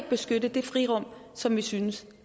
beskytte det frirum som vi synes